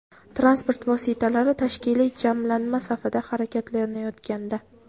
transport vositalari tashkiliy jamlanma safida harakatlanayotganda;.